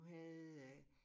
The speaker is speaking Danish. Havde øh